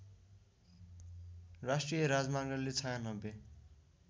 राष्ट्रिय राजमार्गले ९६